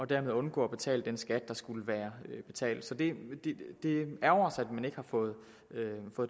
dermed undgår at betale den skat der skulle være betalt så det ærgrer os at man ikke har fået